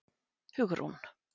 Hugrún